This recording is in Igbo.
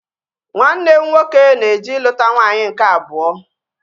Nwanne m nwoke na-eje iluta nwaanyị nke abụọ